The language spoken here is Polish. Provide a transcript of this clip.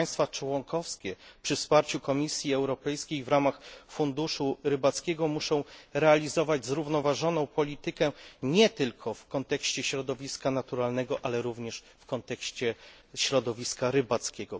Państwa członkowskie przy wsparciu Komisji Europejskiej w ramach Funduszu Rybackiego muszą realizować zrównoważoną politykę nie tylko w kontekście środowiska naturalnego, ale również w kontekście środowiska rybackiego.